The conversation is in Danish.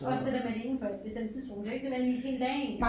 Også det der med det indenfor et bestemt tidsrum det jo ikke nødvendigvis hele dagen